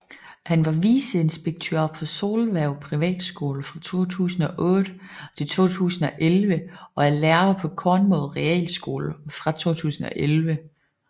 Han var viceinspektør på Solhverv Privatskole fra 2008 til 2011 og er lærer på Kornmod Realskole fra 2011